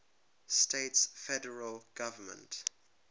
states federal government